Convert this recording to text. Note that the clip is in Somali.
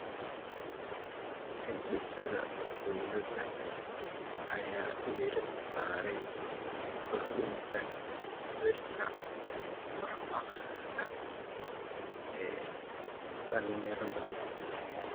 Hindisaha dowladda ayaa diiradda saaraya kordhinta heerka wax-akhris ee dhallinyarada.